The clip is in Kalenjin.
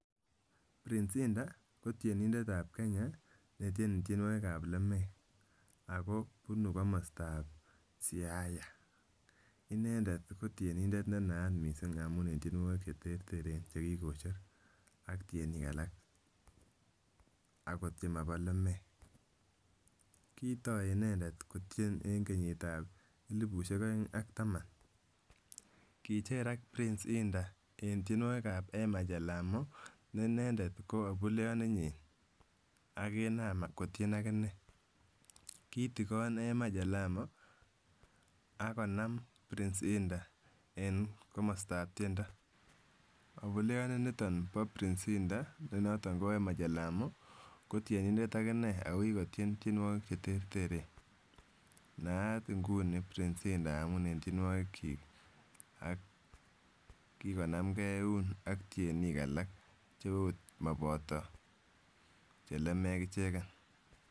Prince Indah koteniendetab Kenya netieni tienwokikab lemeek akobunu komostab Siaya. Inendet kotienindet nenayat mising amun en tienwokik cheterteren chekikocher ak tienik alak akot chemoboo lemeek, kitoi inendet kotien en kenyitab elibushek oeng ak taman, kicherak Prince Indah en tienwokikab Ema chelamo nee inendet ko abuleyoninyin akinam kotien akinee, kitikon Ema chelamo akonam Prince Indah en komostab tiendo, obuleyoniton bo prince Indah nenoton ko Ema chelamo kotienindet akineee akokikotien tienwokik cheterteren, nayaat ing'uni Prince Indah amun en tienwokikyik ak kikonamkee euun ak tienik alak cheot moboto chelimek icheken.